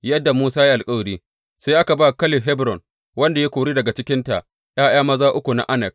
Yadda Musa ya yi alkawari, sai aka ba Kaleb Hebron, wanda ya kori daga cikinta ’ya’ya maza uku na Anak.